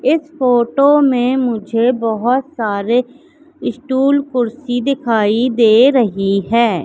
इस फोटो में मुझे बहुत सारे स्टॉल कुर्सी दिखाई दे रही है।